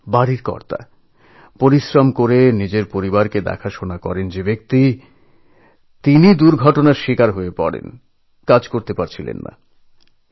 দিনভর খাটাখাটনির উপার্জনে সংসারের ভার সামলানো পরিবারের প্রধান মানুষটি অ্যাক্সিডেণ্টে পঙ্গু হয়ে গিয়েছিলেন কর্মহীন হয়ে পড়েছিলেন